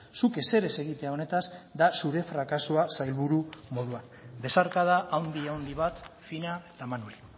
zuk ezer ez egitea honetaz da zure frakasoa sailburu moduan besarkada handi handi bat fina eta manuri